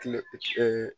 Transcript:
Kile